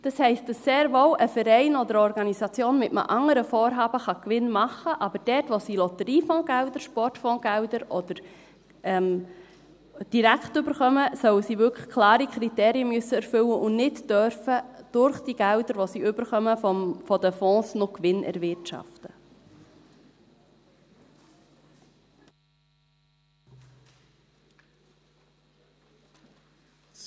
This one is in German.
Das heisst, dass sehr wohl ein Verein oder eine Organisation mit einem anderen Vorhaben Gewinn machen kann, aber dort wo sie Lotteriefondsgelder, Sportfondsgelder direkt erhalten, sollen sie wirklich klare Kriterien erfüllen müssen und nicht mit Geldern, die sie aus den Fonds erhalten, noch Gewinn erwirtschaften dürfen.